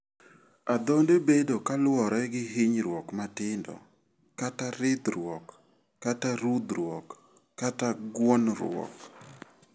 Adhonde bedo kaluore gi hinyruok matindo kata ridhruok kaka rudhruok kata guonruok.